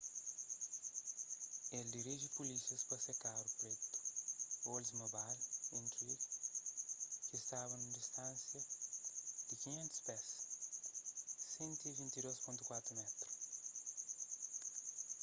el diriji pulísias pa se karu pretu oldsmobile intrigue ki staba nun distánsia di 500 pés 152.4m